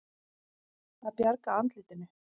Að bjarga andlitinu